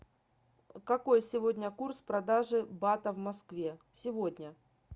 какой сегодня курс продажи бата в москве сегодня